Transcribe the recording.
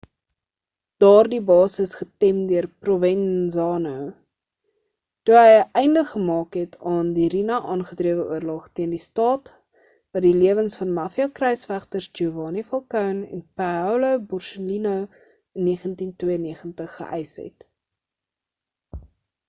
daardie base is getem deur provenzano toe hy 'n einde gemaak het aan die riina-aangedrewe oorlog teen die staat wat die lewens van mafia kruisvegters giovanni falcone en paolo borsellino in 1992 geeïs het